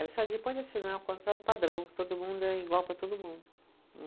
Ela disse, depois de assinar o contrato padrão, todo mundo é igual para todo mundo.